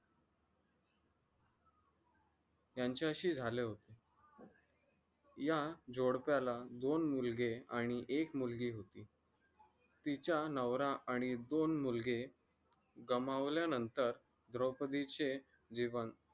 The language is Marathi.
यांच्याशी झालं या जोडप्याला दोन मुलगी आणि एक मुलगी होती तिचा नवरा आणि दोन मुलगे गमावल्यानंतर द्रोपदीचे जीवन